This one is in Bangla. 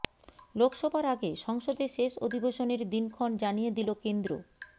লোকসভার আগে সংসদে শেষ অধিবেশনের দিনক্ষণ জানিয়ে দিল কেন্দ্র